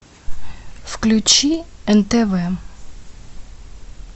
включи нтв